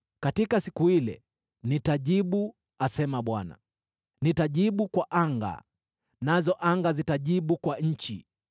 “Katika siku ile nitajibu,” asema Bwana , “nitajibu kwa anga, nazo anga zitajibu kwa nchi;